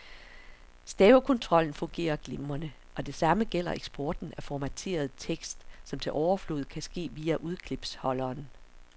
Stavekontrollen fungerer glimrende, og det samme gælder eksporten af formateret tekst, som til overflod kan ske via udklipsholderen.